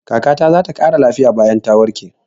Kaka ta za ta ƙara lafiya bayan ta warke.